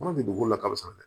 Kɔnɔ tɛ dugukolo la kasa dɛ